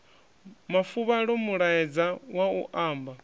mafuvhalo mulaedza wa u amba